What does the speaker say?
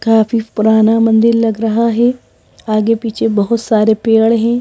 काफी पुराना मंदिर लग रहा है आगे पीछे बहुत सारे पेड़ हैं।